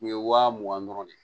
Nin ye wa mugan dɔrɔn de ye